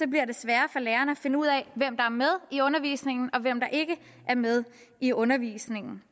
bliver det sværere for læreren at finde ud af hvem der er med i undervisningen og hvem der ikke er med i undervisningen